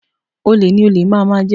Olè ni olè máà máà jẹ